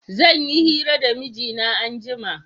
Zan yi hira da mijina anjima